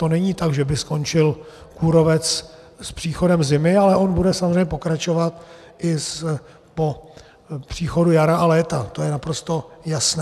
To není tak, že by skončil kůrovec s příchodem zimy, ale on bude samozřejmě pokračovat i po příchodu jara a léta, to je naprosto jasné.